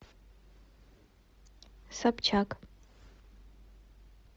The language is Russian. собчак